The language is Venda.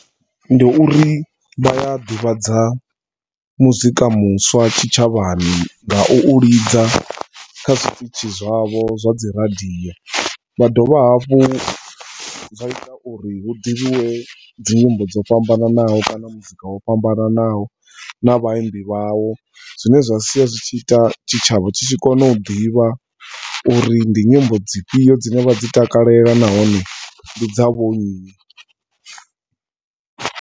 Ndi uri vha a ḓivhadza muzika muswa tshitshavhani nga u u lidza kha zwiṱitzhi zwa vho zwa dzi radio. Zwa dovha hafhu zwa ita uri hu ḓivhiwe dzi nyimbo dzo fhambananaho kana muzika wo fhambananaho na vhaimbi vhawo zwine zwa sia zwi tshi ita tshitshavha tshi tshi kona u ḓivha uri ndi nyimbo dzifhio dzine vha dzi takalela nahone ndi dza vho nnyi.